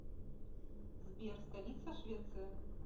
сбер столица швеция